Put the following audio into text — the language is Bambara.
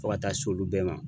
Fo ka taa s'olu bɛɛ ma